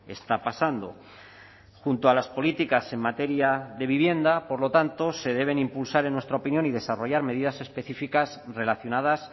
está pasando junto a las políticas en materia de vivienda por lo tanto se deben impulsar en nuestra opinión y desarrollar medidas específicas relacionadas